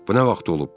Bu nə vaxt olub?